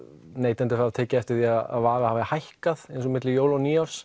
neytendur hafa tekið eftir því að vara hafi hækkað eins og milli jóla og nýárs